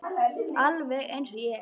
Alveg eins og ég!